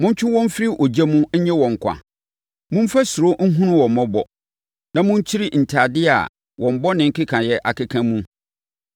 Montwe wɔn mfiri ogya mu nnye wɔn nkwa. Momfa suro nhunu wɔn mmɔbɔ, na monkyiri ntadeɛ a wɔn bɔne nkekaeɛ akeka mu.